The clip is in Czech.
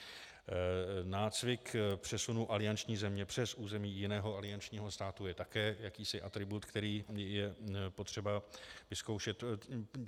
Nácvik přesunu alianční země přes území jiného aliančního státu je také jakýsi atribut, který je potřeba vyzkoušet.